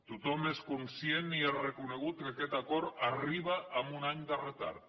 tothom és conscient i ha reconegut que aquest acord arriba amb un any de retard